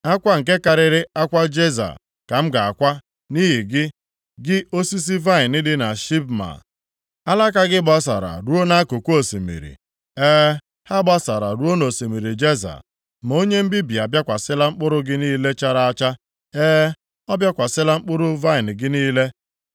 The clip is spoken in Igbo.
Akwa nke karịrị akwa Jeza ka m ga-akwa nʼihi gị, gị osisi vaịnị dị na Sibma. Alaka gị gbasara ruo nʼakụkụ osimiri, e, ha gbasara ruo nʼosimiri Jeza. Ma onye mbibi abịakwasịla mkpụrụ gị niile chara acha, e, ọ bịakwasịla mkpụrụ vaịnị gị niile.